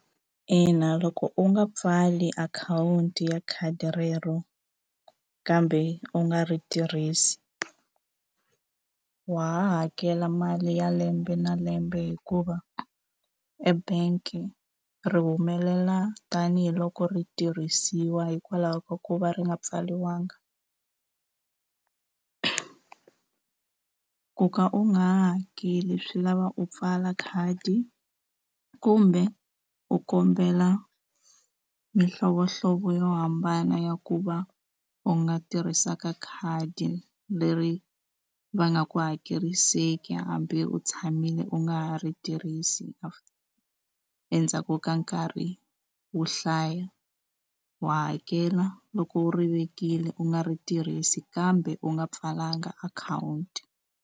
Ina loko u nga pfali akhawunti ya khadi rero kambe u nga ri tirhisi wa ha hakela mali ya lembe na lembe hikuva u e bank ri humelela tanihiloko ri tirhisiwa hikwalaho ka ku va ri nga pfariwanga ku ka u nga ha hakeli swi lava u pfala khadi kumbe u kombela mihlovohlovo yo hambana ya ku va u nga tirhisaka khadi leri va nga ku hakeriseki hambi u tshamile u nga ha ri tirhisi endzhaku ka nkarhi wo hlaya wa hakela loko u ri vekile u nga ri tirhisi kambe u nga pfalanga akhawunti.